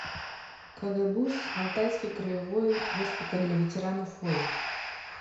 кгбуз алтайский краевой госпиталь для ветеранов войн